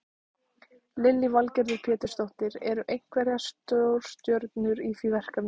Lillý Valgerður Pétursdóttir: Eru einhverjar stórstjörnur í því verkefni?